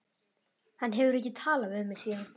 Hann hefur ekki talað við mig síðan.